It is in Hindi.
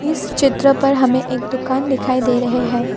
इस चित्र पर हमें एक दुकान दिखाई दे रहे हैं।